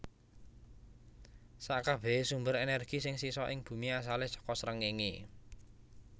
Sakabèhé sumber energi sing sisa ing Bumi asalé saka srengéngé